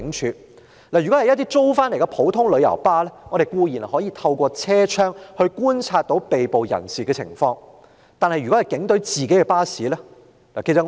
如果用的是一些租回來的普通旅遊巴士，我們固然可以透過車窗來觀察被捕人士的情況，但若是警隊自己的巴士......